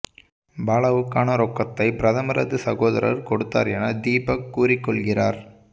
பாலாவுக்கான ரொக்கத்தை பிரதமரது சகோதரர் கொடுத்தார் என தீபக் கூறிக் கொள்கிறார்